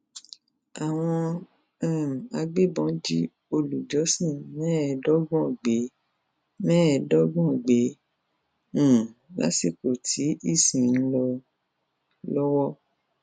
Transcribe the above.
àwọn um agbébọn jí olùjọsìn mẹẹẹdọgbọn gbé mẹẹẹdọgbọn gbé um lásìkò tí ìsìn ń lọ lọwọ